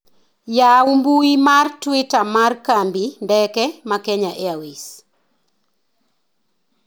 yawu mbui mar twita mar kambi ndeke ma kenya airways